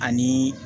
Ani